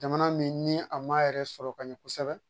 Jamana min ni a m'a yɛrɛ sɔrɔ ka ɲɛ kosɛbɛ